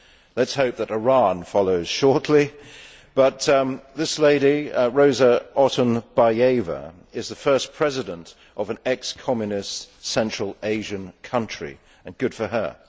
let us hope that Iran follows shortly. This lady, Roza Otunbayeva, is the first president of an ex communist central Asian country and good for her.